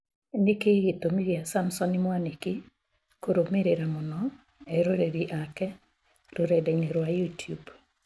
Nĩkĩĩ gĩtũmi kĩa Samson Mwanĩki kũrũmĩrĩra mũno eroreri ake rũrenda-inĩ rwa youtube